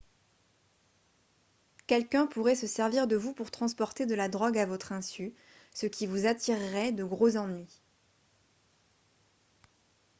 quelqu'un pourrait se servir de vous pour transporter de la drogue à votre insu ce qui vous attirerait de gros ennuis